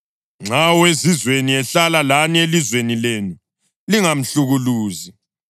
Nxa owezizweni ehlala lani elizweni lenu, lingamhlukuluzi.